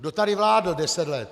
Kdo tady vládl deset let?